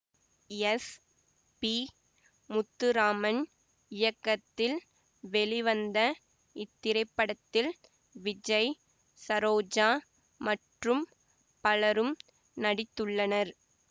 S P Muthuraman இயக்கத்தில் வெளிவந்த இத்திரைப்படத்தில் விஜய் சரோஜா மற்றும் பலரும் நடித்துள்ளனர்